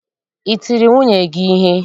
I tiri nwunye gị ihe?